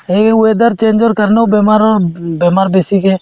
এই weather change ৰ কাৰণেও বেমাৰো উব বেমাৰ বেছিকে